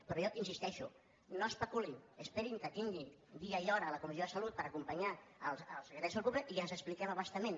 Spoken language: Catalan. però jo hi insisteixo no especulin esperin que tingui dia i hora a la comissió de salut per acompanyar el secretari de salut pública i ens expliquem a bastament